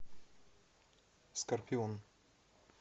скорпион